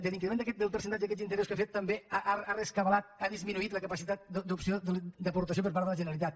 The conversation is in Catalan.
de l’increment del percentatge d’aquests interessos que ha fet també ha rescabalat ha disminuït la capacitat d’opció d’aportació per part de la generalitat